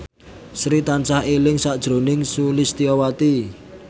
Sri tansah eling sakjroning Sulistyowati